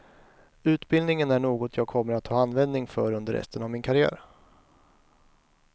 Utbildningen är något jag kommer att ha användning för under resten av min karriär.